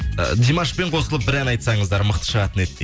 димашпен қосылып бір ән айтсаңыздар мықты шығатын еді дейді